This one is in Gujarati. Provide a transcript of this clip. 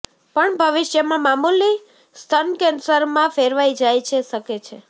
પણ ભવિષ્યમાં મામૂલી સ્તન કેન્સર મા ફેરવાઇ જાય છે શકે છે